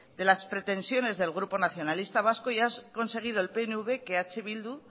de las pretensiones del grupo nacionalistas vascos y ha conseguido el pnv que eh bildu